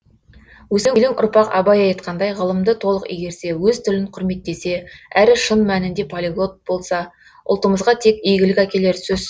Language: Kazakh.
өскелең ұрпақ абай айтқандай ғылымды толық игерсе өз тілін құрметтесе әрі шын мәнінде полиглот болса ұлтымызға тек игілік әкелері сөз